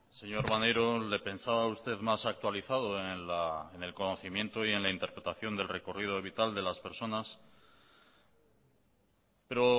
señor maneiro le pensaba a usted más actualizado en el conocimiento y en la interpretación del recorrido vital de las personas pero